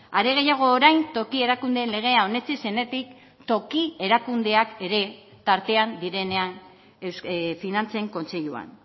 are gehiago orain toki erakundeen legea onetsi zenetik toki erakundeak ere tartean direnean finantzen kontseiluan